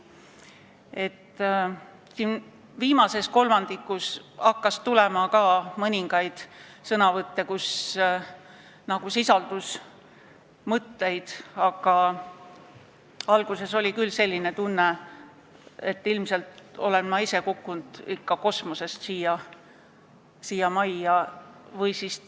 Viimases kolmandikus hakkas tulema ka sõnavõtte, kus sisaldus asjalikke mõtteid, aga alguses oli küll selline tunne, et ilmselt olen ma ise siia majja kosmosest kukkunud.